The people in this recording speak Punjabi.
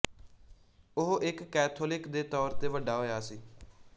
ਉਹ ਇੱਕ ਕੈਥੋਲਿਕ ਦੇ ਤੌਰ ਤੇ ਵੱਡਾ ਹੋਇਆ ਸੀ